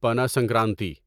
Pana Sankranti